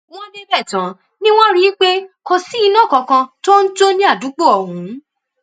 wọn débẹ tán ni wọn rí i pé kò sí iná kankan tó ń jó ní àdúgbò ọhún